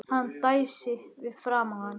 Hún dæsti fyrir framan hann.